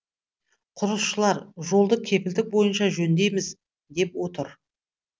құрылысшылар жолды кепілдік бойынша жөндейміз деп отыр